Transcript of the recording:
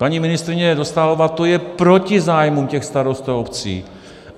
Paní ministryně Dostálová, to je proti zájmům těch starostů a obcí.